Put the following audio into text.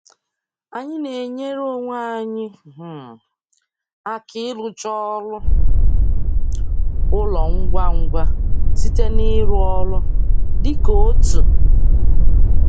Anyị na-enyere onwe anyị um aka ịrụcha ọrụ ụlọ ngwa ngwa site n'ịrụ ọrụ dị ka otu.